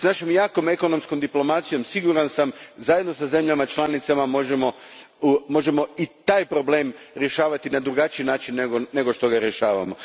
S našom jakom ekonomskom diplomacijom, siguran sam, zajedno sa zemljama članicama možemo i taj problem rješavati na drugačiji način nego što ga rješavamo.